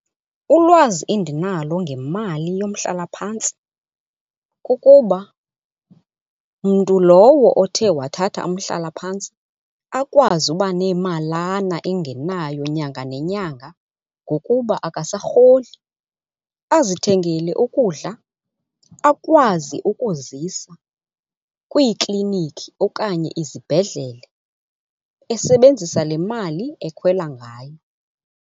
Ulwazi endinalo ngemali yomhlalaphantsi kukuba mntu lowo othe wathatha umhlalaphantsi akwazi uba nemalana engenayo nyanga nenyanga ngokuba akasarholi. Azithengele ukudla, akwazi ukuzisa kwiiklinikhi okanye izibhedlele esebenzisa le mali ekhwela ngayo.